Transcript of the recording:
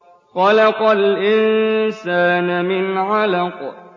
خَلَقَ الْإِنسَانَ مِنْ عَلَقٍ